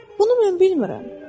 Bunu mən bilmirəm.